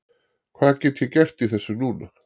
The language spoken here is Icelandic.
Hvað get ég gert í þessu núna?